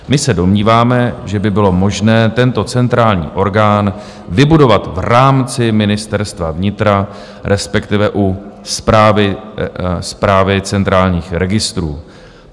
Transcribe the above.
My se domníváme, že by bylo možné tento centrální orgán vybudovat v rámci Ministerstva vnitra, respektive u Správy centrálních registrů.